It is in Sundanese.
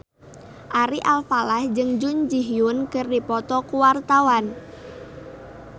Ari Alfalah jeung Jun Ji Hyun keur dipoto ku wartawan